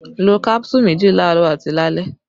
Lo kánsù méjì laarọ àti lálẹ́!